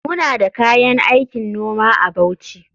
Muna da kayan aikin noma a Bauchi.